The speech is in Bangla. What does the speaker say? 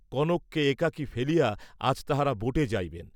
কনককে একাকী ফেলিয়া আজ তাঁহারা বোটে যাইবেন।